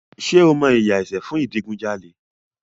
Ṣé o mọ ìyà ẹ̀ṣẹ̀ fún ìdigunjalè?